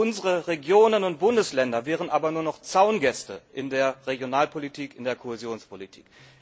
Unsere Regionen und Bundesländer wären aber nur noch Zaungäste in der Regionalpolitik, in der Kohäsionspolitik.